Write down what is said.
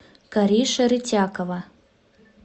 кариша рытякова